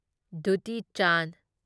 duty Chand